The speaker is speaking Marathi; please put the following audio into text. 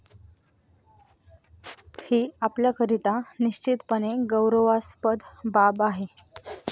ही आपल्याकरिता निश्चितपणे गौरवास्पद बाब आहे.